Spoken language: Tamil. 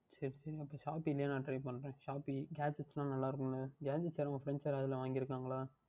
சரி சரி அப்பொழுது நான் Shopee லேயே Try பண்ணுகிறேன் Gadgets எல்லாம் நன்றாக இருக்கும் அல்லவா உன் Friends யாராவுது வாங்கி இருக்கின்றார்களா